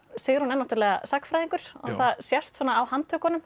Sigrún er náttúrulega sagnfræðingur og það sést svona á